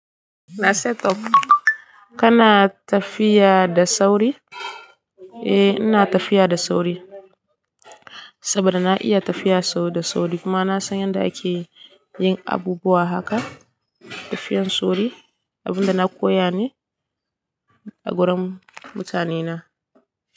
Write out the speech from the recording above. Na set up. Kana tafiya da sauri? Eh ina tafiya da sauri saboda na iya tafiya da sauri kuma na san yadda ake yin abubuwa haka tafiyan sauri, abin da na koya ne a gurin mutanena.